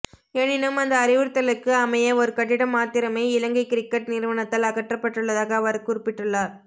எனினும் அந்த அறிவுறுத்தலுக்கு அமைய ஒரு கட்டிடம் மாத்திரமே இலங்கை கிரிக்கட் நிறுவனத்தால் அகற்றப்பட்டுள்ளதாக அவர் குறிப்பிட்டுள்ளார்